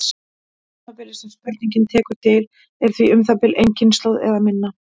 Tímabilið sem spurningin tekur til er því um það bil ein kynslóð eða minna.